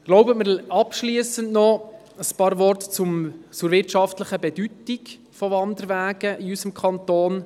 Ich erlaube mir abschliessend noch ein paar Worte zu sagen zur wirtschaftlichen Bedeutung der Wanderwege in unserem Kanton.